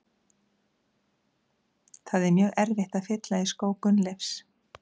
Það er mjög erfitt að fylla í skó Gunnleifs.